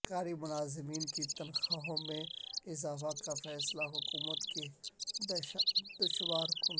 سرکاری ملازمین کی تنخواہوں میں اضافہ کا فیصلہ حکومت کیلئے دشوار کن